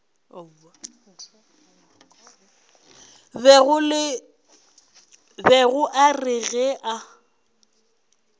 bego a re ge a